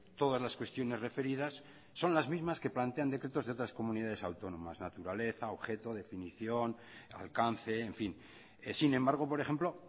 todas las cuestiones referidas son las mismas que plantean decretos de otras comunidades autónomas naturaleza objeto definición alcance en fin sin embargo por ejemplo